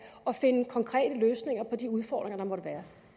og finde konkrete løsninger på de udfordringer der måtte være